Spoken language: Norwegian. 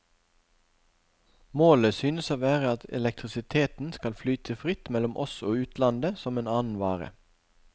Målet synes å være at elektrisiteten skal flyte fritt mellom oss og utlandet som en annen vare.